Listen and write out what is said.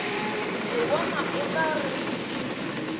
ke bona o ka re